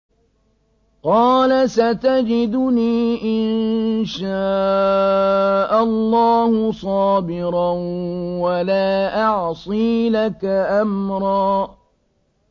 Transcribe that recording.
قَالَ سَتَجِدُنِي إِن شَاءَ اللَّهُ صَابِرًا وَلَا أَعْصِي لَكَ أَمْرًا